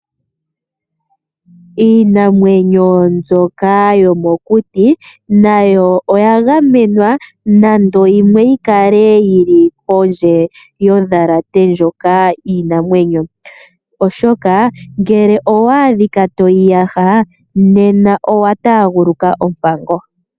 Iinamwenyo mbyoka yomokuti nayo oyagamenwa, nando yimwe oyikale yili pondje yondhalate ndjoka yiinamwenyo, oshoka ngele owaadhika toyi yaha nena owataaguluka oompango.